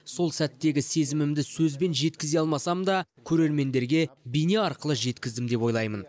сол сәттегі сезімімді сөзбен жеткізе алмасам да көрермендерге бейне арқылы жеткіздім деп ойлаймын